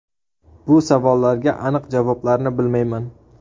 Bu savollarga aniq javoblarni bilmayman.